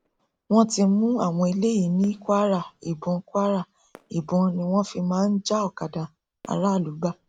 wọn ti mú àwọn eléyìí ní kwara ìbọn kwara ìbọn ni wọn fi máa ń já òkadà aráàlú gbà